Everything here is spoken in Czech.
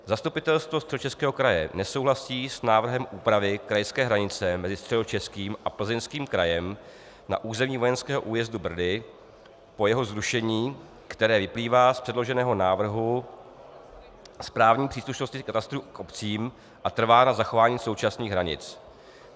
Zastupitelstvo Středočeského kraje nesouhlasí s návrhem úpravy krajské hranice mezi Středočeským a Plzeňským krajem na území vojenského újezdu Brdy po jeho zrušení, které vyplývá z předloženého návrhu správní příslušnosti katastrů k obcím, a trvá na zachování současných hranic.